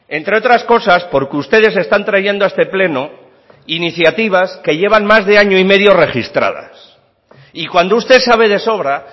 entre otras cosas porque ustedes están trayendo a este pleno iniciativas que llevan más de año y medio registradas y cuando usted sabe de sobra